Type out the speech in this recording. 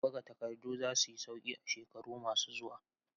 Buga takardu za su yi sauƙi a shekaru masu zuwa.